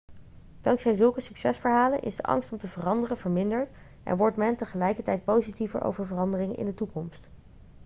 dankzij zulke succesverhalen is de angst om te veranderen verminderd en wordt men tegelijkertijd positiever over veranderingen in de toekomst